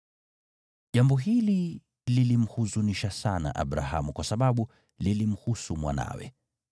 Jambo hili lilimhuzunisha sana Abrahamu kwa sababu lilimhusu mwanawe.